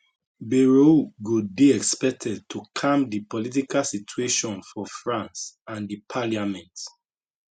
bayrou go dey expected to calm di political situation for france and di parliament